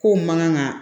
Kow man kan ka